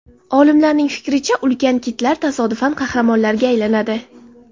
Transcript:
Olimlarning fikricha, ulkan kitlar tasodifan qahramonlarga aylanadi.